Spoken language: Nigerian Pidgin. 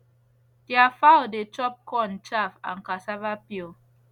their fowl dey chop corn chaff and cassava peel